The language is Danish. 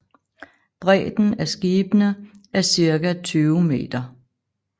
Bredden af skibene er cirka 20 meter